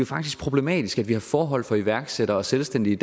faktisk problematisk at vi har forhold for iværksættere selvstændige